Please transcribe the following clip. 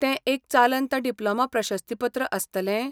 तें एक चालंत डिप्लोमा प्रशस्तीपत्र आसतलें?